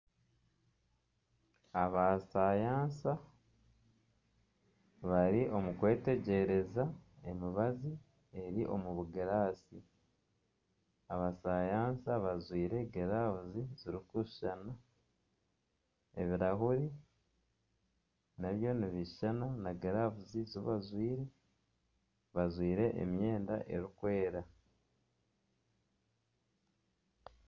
Abasayansa bari omukwetegyereza emibazi eri omubugirasi abasayansa bajwaire glavu ziri kushushana ebirahuri nabyo nibishushana na glavu ezibajwaire bajwaire emyenda erikwera.